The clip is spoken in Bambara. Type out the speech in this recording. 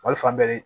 Wali fan bɛɛ